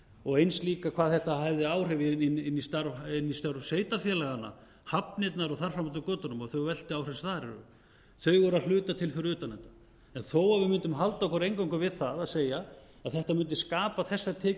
og eins líka hvað þetta hefði áhrif inn í störf sveitarfélaganna hafnirnar og þar fram eftir götunum og þau veltiáhrif sem þar eru þau eru að hluta til fyrir utan þetta en þó að við mundum halda okkur eingöngu við það að segja að þetta mundi skapa þessar tekjur